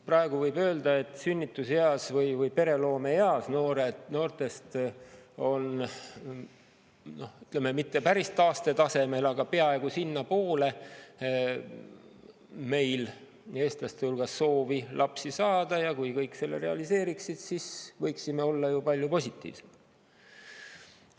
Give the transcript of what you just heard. Praegu võib öelda, et sünnituseas või pereloomeeas noortel meil eestlaste hulgas on soovi – ütleme, mitte päris taastetasemel, aga peaaegu sinnapoole – lapsi saada, ja kui kõik selle realiseeriksid, siis võiksime olla ju palju positiivsemad.